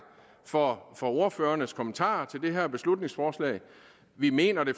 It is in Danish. for ordførernes kommentarer til det her beslutningsforslag vi mener